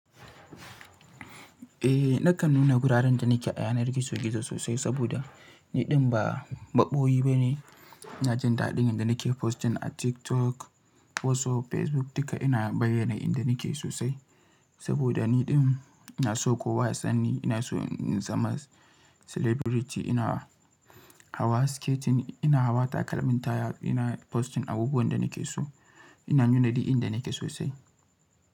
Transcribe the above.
Eh, nakan nuna guraren da nake a yanar gizo-gizo sosai saboda ni ɗin ba maɓoyi bane. Na jin daɗin inda nake posting a TikTok, WhatsApp, Facebook duka ina bayyana inda nake sosai. Saboda ni ɗin na so kowa ya san ni, ina so in zama celebrity, ina hawa skating, ina hawa takalmin taya, ina posting abubuwan da nake so, ina nuna duk inda nake sosai.